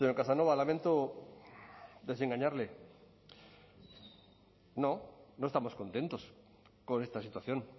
casanova lamento desengañarle no no estamos contentos con esta situación